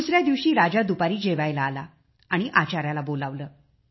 दुसऱ्या दिवशी राजा दुपारी जेवायला आला आणि आचाऱ्याला बोलावले